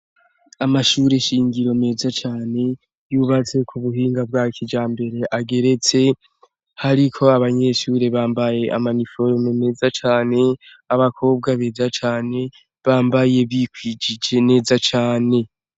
Amashure nshingiro meza cane yubatse ku buhinga bwa kijambere, ageretse, hariko abanyeshure bambaye amaniforome meza cane, abakobwa beza cane bambaye bikwijije neza cane.